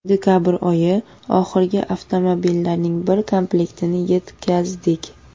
Dekabr oyi oxirida avtomobillarning bir komplektini yetkazdik.